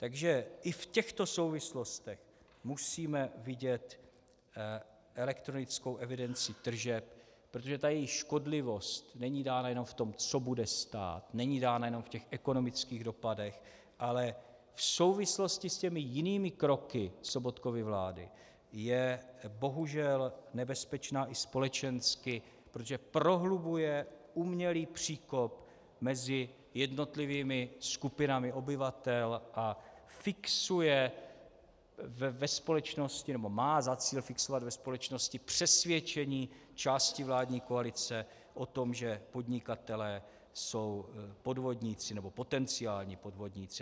Takže i v těchto souvislostech musíme vidět elektronickou evidenci tržeb, protože ta její škodlivost není dána jenom v tom, co bude stát, není dána jenom v těch ekonomických dopadech, ale v souvislosti s těmi jinými kroky Sobotkovy vlády je bohužel nebezpečná i společensky, protože prohlubuje umělý příkop mezi jednotlivými skupinami obyvatel a fixuje ve společnosti, nebo má za cíl fixovat ve společnosti přesvědčení části vládní koalice o tom, že podnikatelé jsou podvodníci nebo potenciální podvodníci.